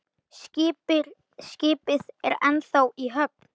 Skipið er ennþá í höfn.